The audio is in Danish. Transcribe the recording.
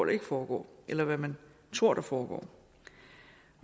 ikke foregår eller hvad man tror der foregår